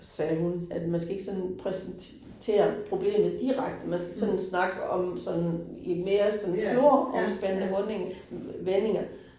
Sagde hun, at man skal ikke sådan præsentere problemet direkte, man skal sådan snakke om sådan i mere sådan snor omspænde runding vendinger